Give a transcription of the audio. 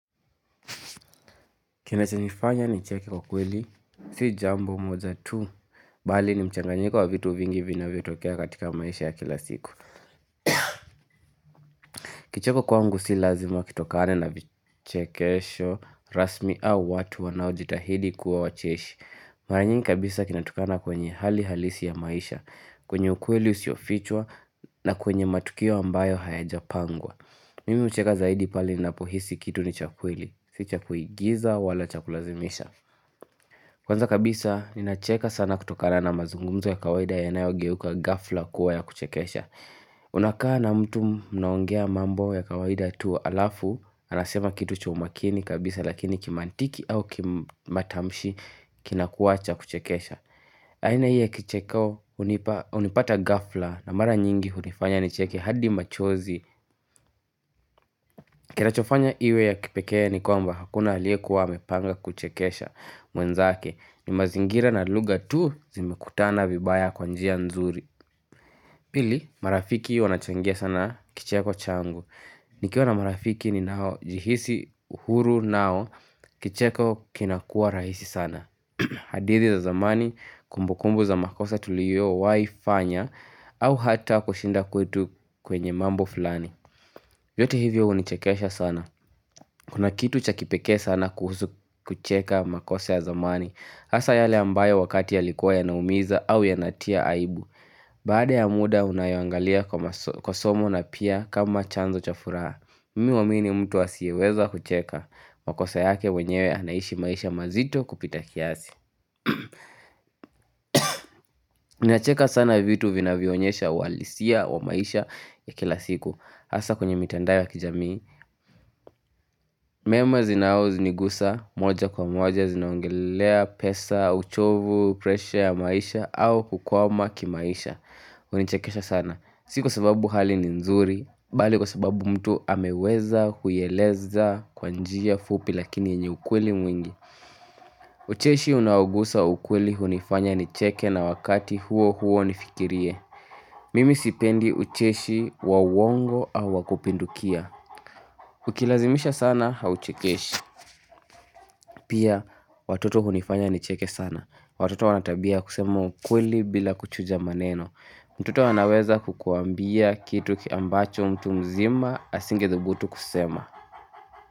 Kinachonifanya nicheke kwa kweli, si jambo moja tu, bali ni mchanganyika wa vitu vingi vinavyotokea katika maisha ya kila siku. Kicheko kwangu si lazima kitokane na vichekesho, rasmi au watu wanaojitahidi kuwa wacheshi. Mara nyingi kabisa kinatokana kwenye hali halisi ya maisha, kwenye ukweli usiofichwa na kwenye matukio ambayo hayajapangwa. Mimi hucheka zaidi pale napohisi kitu ni cha kweli, si cha kuigiza wala cha kulazimisha. Kwanza kabisa ni nacheka sana kutokana na mazungumzo ya kawaida yanayogeuka ghafla kuwa ya kuchekesha Unakaa na mtu mnaongea mambo ya kawaida tu halafu anasema kitu chaumakini kabisa lakini kimantiki au kimatamshi kinakuwa cha kuchekesha aina hii ya kicheko hunipata ghafla na mara nyingi hunifanya ni cheke hadi machozi Kinachofanya iwe ya kipekea ni kwamba hakuna alyiekuwa amepanga kuchekesha mwenzake ni mazingira na lugha tu zimekutana vibaya kwa njia nzuri Pili marafiki wanachangia sana kicheko changu nikiwa na marafiki ninaojihisi uhuru nao kicheko kinakuwa rahisi sana hadithi za zamani kumbukumbu za makosa tuliyowaifanya au hata kushinda kwetu kwenye mambo fulani yote hivyo hunichekesha sana Kuna kitu chakipeke sana kuhusu kucheka makosa ya zamani hasa yale ambayo wakati yalikuwa ynaumiza au yanatia aibu Baadya muda unayangalia kwa somo na pia kama chanzo cha furaha mini huamini mtu asiyeweza kucheka makosa yake wenyewe anaishi maisha mazito kupita kiasi Ninacheka sana vitu vinavyoonyesha uhalisia wa maisha ya kila siku hasa kwenye mitandao ya kijamii mema zinaonigusa moja kwa moja zinaongelelea pesa, uchovu, presha ya maisha au kukwama kimaisha. Hunichekesha sana. Sikwa sababu hali ni nzuri, bali kwa sababu mtu ameweza kuieleza kwa njia fupi lakini yenye ukweli mwingi. Ucheshi unaogusa ukweli hunifanya nicheke na wakati huo huo nifikirie. Mimi sipendi ucheshi wa uongo au wakupindukia. Ukilazimisha sana hauchekeshi. Pia watoto hunifanya nicheke sana. Watoto wanatabia kusema ukweli bila kuchuja maneno. Mtoto anaweza kukuambia kitu ambacho mtu mzima asingethubutu kusema.